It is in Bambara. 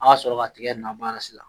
An ka sɔrɔ ka tiga in na baara sisan